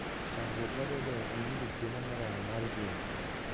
Chandruok mabedoe en yudo chiemo moromo mar gwen.